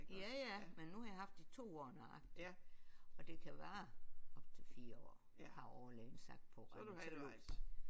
Ja ja men nu har jeg haft det i 2 år nøjagtigt og det kan vare op til 4 år har overlægen sagt på reumatologisk